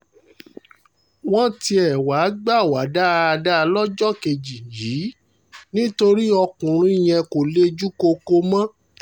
wọ́n tiẹ̀ wáá gbà wá dáadáa lọ́jọ́ kejì yìí nítorí ọkùnrin yẹn kò lejú koko mọ́